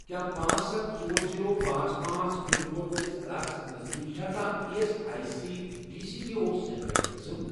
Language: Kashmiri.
کیٛاہ پانژھ، ستھَ، ژور، زیٖرو، پانژھ، پانژھ، پِن کوڈ وٲلِس علاقس نزدیٖک چھا کانٛہہ E S I C D C B O centre قٕسم؟